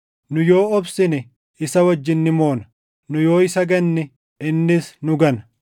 nu yoo obsine, isa wajjin ni moona. Nu yoo isa ganne, innis nu gana.